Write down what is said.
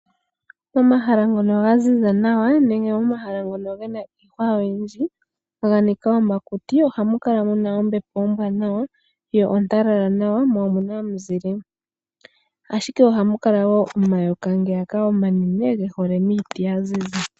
Momahala ngono ga ziza nawa nenge momahala ngono ge na iihwa oyindji ga nika omakuti oha mu kala mu na ombepo ombwaanawa yo ontalala nawa ,mo omu na omunzile, ashike oha mu kala woo omayoka ngeyaka omanene ge hole miiti ya ziza.